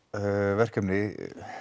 verkefni